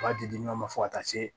U b'a di di ɲɔgɔn ma fo ka taa se